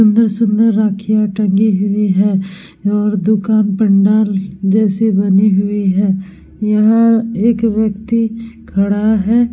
सुन्दर-सुन्दर राखियाँ टंगी हुई है और दुकान पंडाल जैसी बनी हुई है यहाँ एक व्यक्ति खड़ा है।